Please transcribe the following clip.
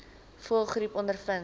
voëlgriep ondervind